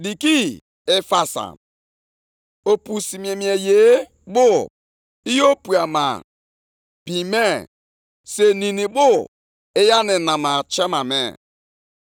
“Ahụhụ dịrị onye ahụ na-eji ọbara ewu obodo, nke na-ejikwa ajọ omume eme ka obodo ahụ guzosie ike.